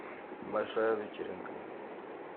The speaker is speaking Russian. большая вечеринка